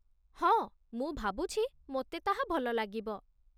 ହଁ, ମୁଁ ଭାବୁଛି ମୋତେ ତାହା ଭଲ ଲାଗିବ